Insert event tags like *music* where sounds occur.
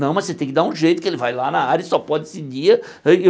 Não, mas você tem que dar um jeito, que ele vai lá na área e só pode seguir. *unintelligible*